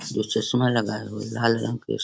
दो चश्मा लगाये हुए हैं लाल रंग के --